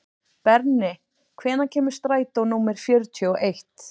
Berni, hvenær kemur strætó númer fjörutíu og eitt?